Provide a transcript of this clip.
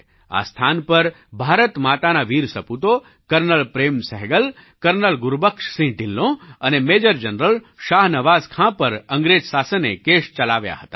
આ સ્થાન પર ભારત માતાના વીર સપૂતો કર્નલ પ્રેમ સહગલ કર્નલ ગુરુબખ્શસિંહ ઢિલ્લોં અને મેજર જનરલ શાહનવાઝ ખાં પર અંગ્રેજ શાસને કેસ ચલાવ્યા હતા